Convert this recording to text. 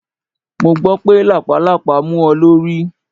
Mo gbọ́ pé lápàlàpá mú ọ lórí.